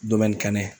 kɛnɛ